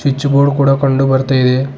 Switch board ಕೂಡ ಕಂಡು ಬರ್ತಾ ಇದೆ.